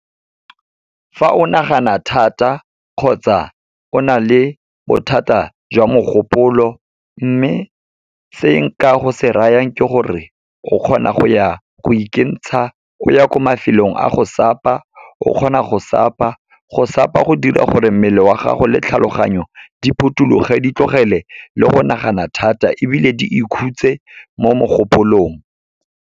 Fa o nagana thata kgotsa o na le bothata jwa mogopolo, mme se nka go se rayang ke gore, o kgona go ya go ikentsha o ya ko mafelong a go , o kgona go . Go go dira gore mmele wa gago le tlhaloganyo di phuthuloge, di tlogele le go nagana thata, ebile di ikhutse mo mogopolong.